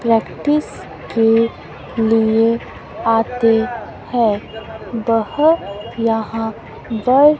practice के लिए आते हैं बहुत यहां गर्ल --